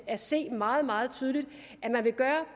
at se meget meget tydeligt at man vil gøre